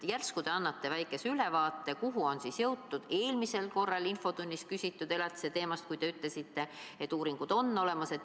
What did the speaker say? Järsku te annate väikese ülevaate, kuhu on jõutud eelmisel korral infotunnis käsitletud elatise teemaga – te ütlesite, et uuringud on olemas.